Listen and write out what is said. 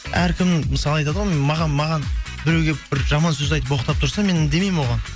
әркім мысалы айтады ғой маған біреу келіп бір жаман сөз айтып боқтап тұрса мен үндемеймін оған